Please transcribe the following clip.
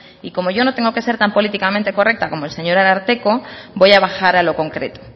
y como yo no tengo que ser tan políticamente correcta como el señor ararteko voy a bajar a lo concreto